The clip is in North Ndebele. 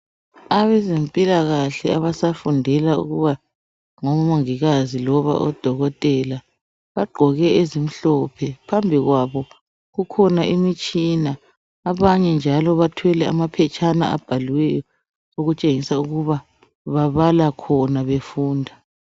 Abezempilakahle abasafundela ukuba ngomongikazi loba odokotela bagqoke ezimhlophe phambi kwabo kukhona imitshina, abanye njalo bathwele amaphetshana abhaliweyo ukutshengisa ukuba babala khona befunda.